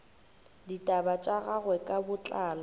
ditaba tša gagwe ka botlalo